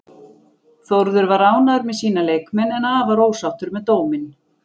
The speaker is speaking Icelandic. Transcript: Þórður var ánægður með sína leikmenn, en afar ósáttur með dóminn.